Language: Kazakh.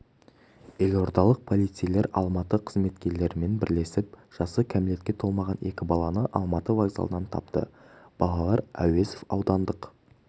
елордалық полицейлер алматы қызметкерлерімен бірлесіп жасы кәмелетке толмаған екі баланы алматы вокзалынан тапты балалар әуезов аудандық